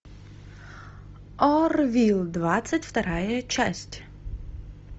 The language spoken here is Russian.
орвилл двадцать вторая часть